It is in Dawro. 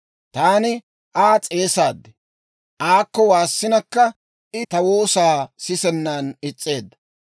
Taani Aa s'eesaad; aakko waassinakka, I ta woosaa sisennan is's'eedda.